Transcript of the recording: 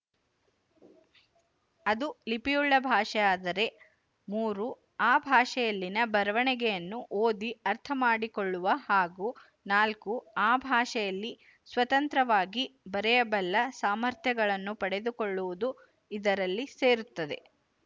ಅದು ಲಿಪಿಯುಳ್ಳ ಭಾಷೆಯಾದರೆ ಮೂರು ಅ ಭಾಷೆಯಲ್ಲಿನ ಬರೆವಣಿಗೆಯನ್ನು ಓದಿ ಅರ್ಥ ಮಾಡಿಕೊಳ್ಳುವ ಹಾಗೂ ನಾಲ್ಕು ಆ ಭಾಷೆಯಲ್ಲಿ ಸ್ವತಂತ್ರವಾಗಿ ಬರೆಯಬಲ್ಲ ಸಾಮರ್ಥ್ಯಗಳನ್ನು ಪಡೆದುಕೊಳ್ಳುವುದೂ ಇದರಲ್ಲಿ ಸೇರುತ್ತದೆ